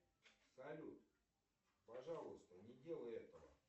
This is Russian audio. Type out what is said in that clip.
салют пожалуйста не делай этого